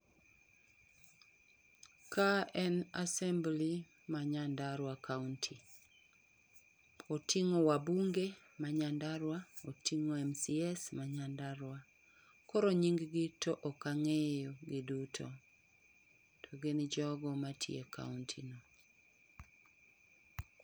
ka en assembly ma Nyandarua kaunti. Oting'o wabunge ma nyandarua, oting'o MCAs ma Nyandarua kaunti . Koro nying gi to ok ang'eyo giduto to gin jogo matiyo e kaunti no